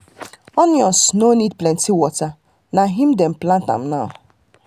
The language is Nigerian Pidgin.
as onions no need plenty water na him dem plant am now.